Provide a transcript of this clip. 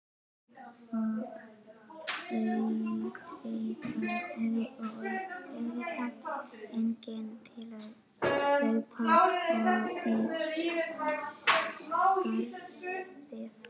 THEODÓRA: Og auðvitað enginn til að hlaupa í skarðið.